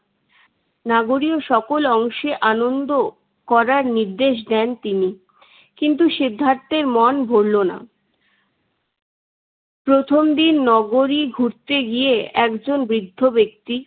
নাগরীও সকল অংশে আনন্দ করার নির্দেশ দেন তিনি। কিন্তু সিদ্ধার্থের মন ভরলো না। প্রথম দিন নগরী ঘুরতে গিয়ে একজন বৃদ্ধ ব্যক্তি